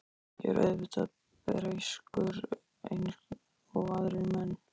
Ég er auðvitað breyskur eins og aðrir menn.